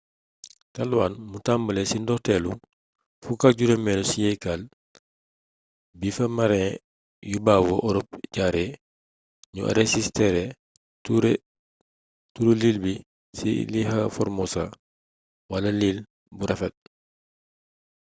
taiwan mu tambale ci ndorteelu 15eelu siyeekal bi fa marin yu bawoo orop jaaree ñu arësistere turu iil bi ci ilha formosa wala iil bu rafet